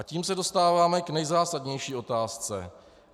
A tím se dostáváme k nejzásadnější otázce.